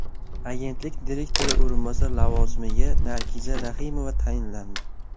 Agentlik direktori o‘rinbosari lavozimiga Nargiza Raximova tayinlandi.